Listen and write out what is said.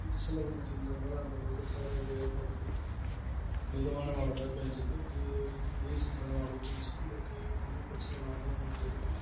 December month இந்த முறை அந்த அளவுக்கு சேதம் எதுவும் ஏற்படுத்தல மிதமான மழைதான் பேஞ்சுது டி~ டி~ recent டா இந்த மழை பேஞ்சு நம்மளுக்கு ஒண்ணும் பிரச்சன இல்லாம முடிஞ்சது